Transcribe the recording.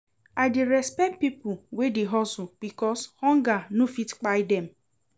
I dey respect pipo wey dey hustle because hunger no fit kpai dem.